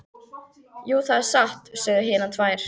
Jú, það er satt, sögðu hinar tvær.